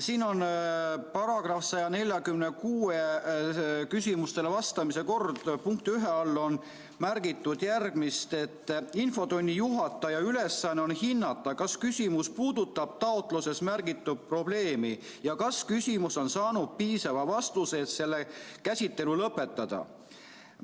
Siin on § 146, "Küsimustele vastamise kord", kommentaarides punkti 1 all märgitud järgmist: "Infotunni juhataja ülesanne on hinnata, kas küsimus puudutab taotluses märgitud probleemi ja kas küsimus on saanud piisava vastuse, et selle käsitelu lõpetada.